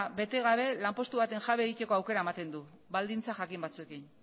bete gabe lanpostu baten jabe egiteko aukera ematen du baldintza jakin batzuekin